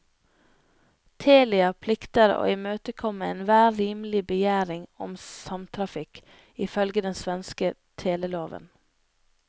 Telia plikter å imøtekomme enhver rimelig begjæring om samtrafikk, ifølge den svenske teleloven.